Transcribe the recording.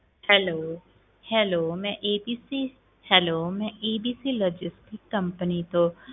Hello hello ਮੈਂ ABC hello ਮੈਂ ABC logistic company ਤੋਂ